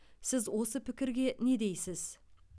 сіз осы пікірге не дейсіз